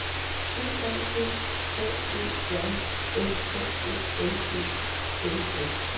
D A G H Ø J S K O L E N S